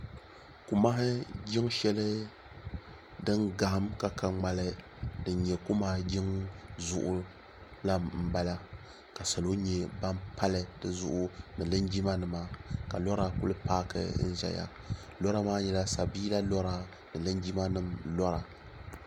kumahi jin shɛli din kahim ka ka ŋmɛli din nyɛ kumahi jiŋ zuɣ la n bala salo nyɛ ban pali di zuɣ ni linjima nima ka lora kuli paaki n zaya lora maa nyɛla sabila lora ni jinjimanim lora